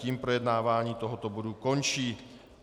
Tím projednávání tohoto bodu končí.